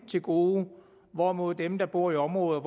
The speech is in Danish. til gode hvorimod dem der bor i områder